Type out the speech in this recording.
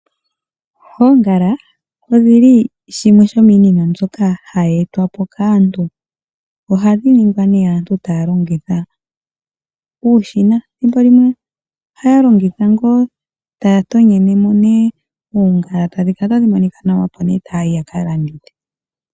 Oongala odhili shimwe sho miinima mbyoka hayi etwapo kaantu. Oha dhi ningwa nee aantu taa longitha uushina thimbolimwe ohaya longitha ngoo, taya tonyenemo oongala tadhi kala tadhi monika nawa opo nee taayi ya kalandithi.